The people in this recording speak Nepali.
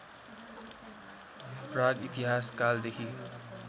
प्राग इतिहास कालदेखि